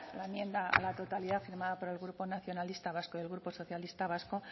la enmienda a la totalidad firmada por el grupo nacionalista vasco y grupo socialista vasco